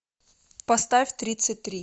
поставь тридцать три